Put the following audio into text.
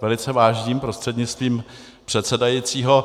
velice vážím, prostřednictvím předsedajícího.